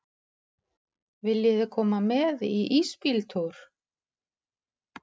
Viljiði koma með í ísbíltúr?